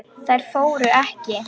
Þær fóru ekki.